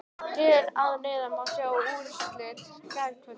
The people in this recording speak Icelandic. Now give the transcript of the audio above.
Hér að neðan má sjá úrslit gærkvöldsins.